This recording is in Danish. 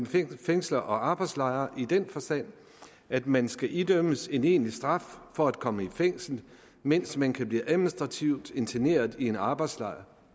fængsler og arbejdslejre i den forstand at man skal idømmes en egentlig straf for at komme i fængsel mens man kan blive administrativt interneret i en arbejdslejr